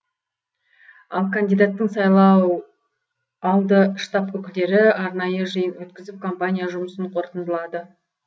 ал кандидаттың сайлау алды штаб өкілдері арнайы жиын өткізіп компания жұмысын қорытындылады